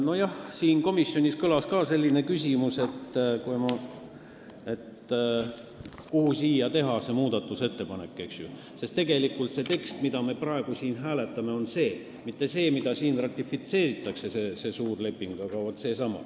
Nojah, komisjonis kõlas ka selline küsimus, et mille kohta siin muudatusettepanekut teha, sest tegelikult see tekst, mida me praegu hääletame, on see siin, mitte see tekst, mida siin ratifitseeritakse, see suur leping, vaid vaat see.